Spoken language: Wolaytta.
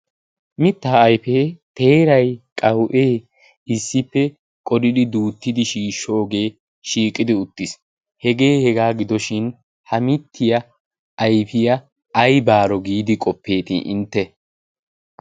mittaa aifee teerai qawu'ee issippe qodidi duuttidi shiishshoogee shiiqidi uttiis. hegee hegaa gidoshin ha mittiya ayfiyaa ayba aro giidi qoppeeti intte?